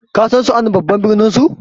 kasan suan babban birninsu